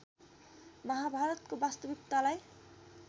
महाभारतको वास्तविकतालाई